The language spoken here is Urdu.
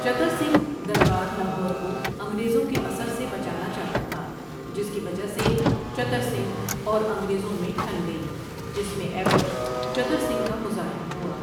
چتر سنگھ دربار لاہور کوانگریزوں کے اثر سے بچانا چاہتا تھا جس کی وجہ سے چتر سنگھ اور انگریزوں میں ٹٔھن گئی جس میں ایبٹ چتر سنگھ کا مزاحم ہوا ۔